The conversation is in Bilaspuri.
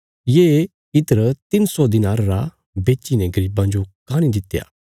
ये इत्र तिन्न सौ दिनार रा बेच्चीने गरीबां जो काँह नीं दित्या